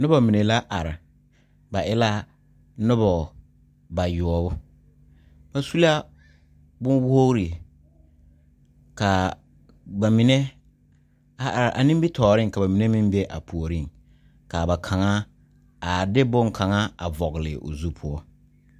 Noba mine la are ba e la noba bayoɔbu ba su la bon wogre ka ba mine a are a nimitɔɔre ka ba mine meŋ be a puori ka ba kaŋa a de bon kaŋa a vɔgle o zu poɔ.